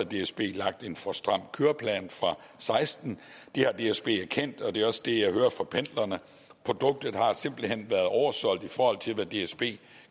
dsb har lagt en for stram køreplan for og seksten det har dsb erkendt og det er også det jeg hører fra pendlerne produktet har simpelt hen været oversolgt i forhold til hvad dsb